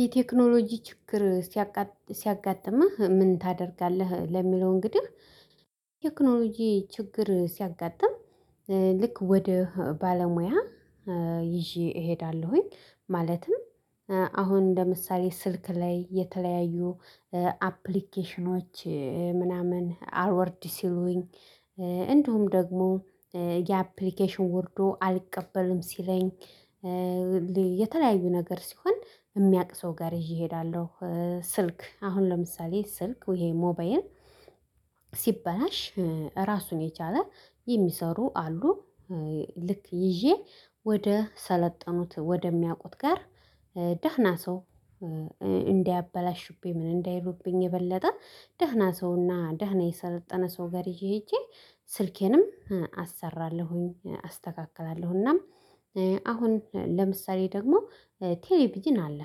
የቴክኖሎጂ ችግር ሲያጋጥምህ ምን ታደርጋለህ? ለሚለው እንግዲህ ቴክኖሎጂ ችግር ሲያጋጥም ልክ ወደ ባለሙያ ይዤ እሄዳለሁኝ። ማለትም አሁን እንደ ምሳሌ ስልክ ላይ የተለያዩ አፕሊኬሽኖች ምናምን አልወርድ ሲሉኝ እንዲሁም ደግሞ ያአፕሊኬሽን ወርዶ አልቀበልም ሲለኝ የተለያዩ ነገር ሲሆን የሚያቅ ሰው ጋር ይዤ እሄዳለሁ። ስልክ አሁን ለምሳሌ ስልክ ወይ ሞባይል ሲበላሽ ራሱን የቻለ የሚሰሩ አሉ ልክ ይዤ ወደ ሰለጠኑት ወደሚያውቁት ጋር ደህና ሰው እንዳያበላሽብኝ ምን እንዳይሉብኝ የበለጠ ደህና ሰውና ደህና የሰለጠነ ሰው ጋር ይዤ ሄጄ ስልኬንም አሰራለሁኝ። እናም አሁን ለምሳሌ ደግሞ ቴሌቪዥን አለ።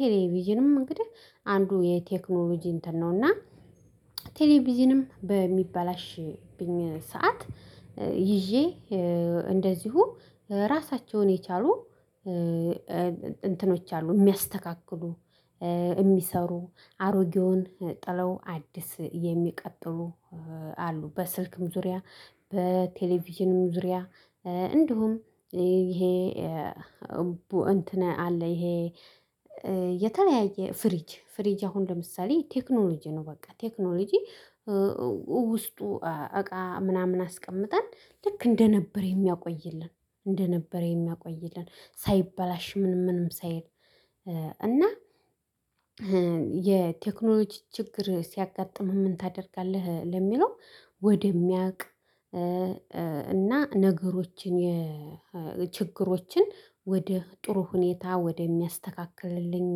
ቴሌቪዥንም እንግዲህ አንዱ የቴክኖሎጂ እንትን ነው እና ቴሌቪዥንም በሚበላሽብኝ ሰዓት ይዤ እንደዚሁ ራሳቸውን የቻሉ እንትኖች አሉ የሚያስተካክሉ የሚሰሩ አሮጌውን ጥለው አዲስ የሚቀጥሉ አሉ። በስልክም ዙሪያ በቴሌቪዥንም ዙሪያ እንዲሁም ይሄ እንትን አለ ይሄ የተለያየ ፍሪጅ ፍሪጅ አሁን ለምሳሌ ቴክኖሎጂ ነው። በቃ ቴክኖሎጂ ውስጡ እቃ ምናምን አስቀምጠን ልክ እንደነበር የሚያቆይልን እንደነበር የሚያቆይልን ሳይበላሽ ምንም ምንም ሳይል እና የቴክኖሎጂ ችግር ሲያጋጥምህ ምን ታደርጋለህ? ለሚለው ወደሚያውቅ እና ነገሮችን ችግሮችን ወደ ጥሩ ሁኔታ ወደሚያስተካክልልኝ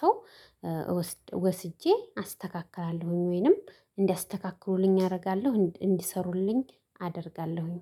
ሰው ወስጄ አስተካክላለሁኝ። ወይንም እንዲያስተካክሉልኝ አደርጋለሁ እንዲሰሩልኝ አደርጋለሁኝ